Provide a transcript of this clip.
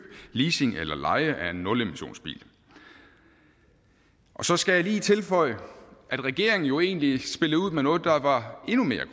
leasing eller leje af en nulmissionsbil så skal jeg lige tilføje at regeringen jo egentlig spillede ud med noget der var endnu mere